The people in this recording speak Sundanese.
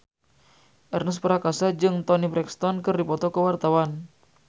Ernest Prakasa jeung Toni Brexton keur dipoto ku wartawan